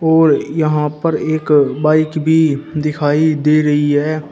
और यहां पर एक बाइक भी दिखाई दे रही है।